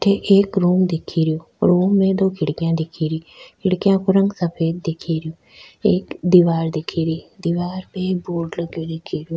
अठ एक रूम दिख रो रूम में दो खिड़कियां दिख री खिड़कियां को रंग सफ़ेद दिख री एक दीवार दिख री दीवार पर एक बोर्ड लगो दिख रो।